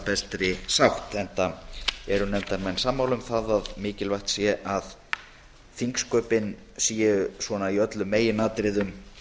bestri sátt enda eru nefndarmenn sammála um að mikilvægt sé að þingsköpin séu í öllum meginatriðum